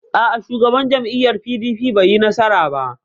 A'a, Shugaban jam'iyyar PDP bai yi nasara ba.